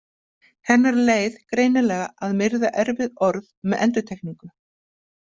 Hennar leið greinilega að myrða erfið orð með endurtekningu.